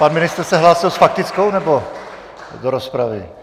Pan ministr se hlásil s faktickou, nebo do rozpravy?